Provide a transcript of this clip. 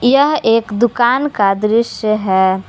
यह एक दुकान का दृश्य है।